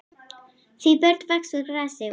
Því börn vaxa úr grasi og.